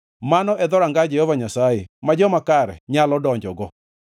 Mano e dhoranga Jehova Nyasaye ma joma kare nyalo donjogo.